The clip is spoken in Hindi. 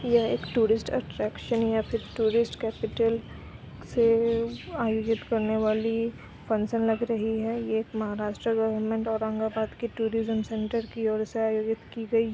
यह एक टूरिस्ट अट्रैक्शन है टूरिस्ट कैपिटल से आयोजित करने वाली फंक्शन लग रही है| यह एक महाराष्ट्र गवर्नमेंट औरंगाबाद टूरिस्ट की ओर से आयोजित की गई है।